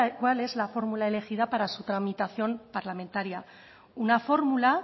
cuál es la fórmula elegida para su tramitación parlamentaria una fórmula